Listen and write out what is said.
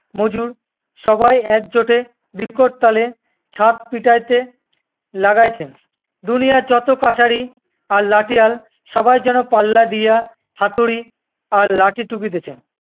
মজুর সবাই একজোটে বিকট তালে ছাদ পিটাইতে লাগাইছেন। দুনিয়ার যত কাসারি আর লাঠিয়াল সবাই যেন পাল্লা দিয়া হাতুড়ি আর লাঠি ঠুকিতেছেন